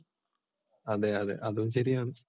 അതെ അതെ അതും ശരിയാണ്.